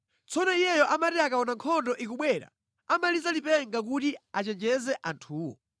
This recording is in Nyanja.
Tsono iyeyo amati akaona nkhondo ikubwera amaliza lipenga kuti achenjeze anthuwo.